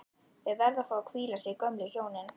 Þau verða að fá að hvíla sig, gömlu hjónin